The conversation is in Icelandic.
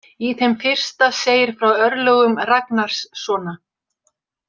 Í þeim fyrsta segir frá örlögum Ragnarssona.